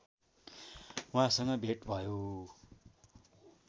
उहाँसँग भेट भयो